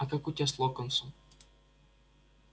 а как у тебя с локонсом